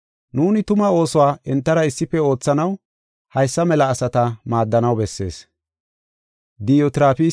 Nuuni tuma oosuwa entara issife oothanaw haysa mela asata maaddanaw bessees.